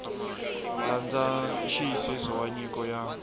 landza nxiyisiso wa nyiko ya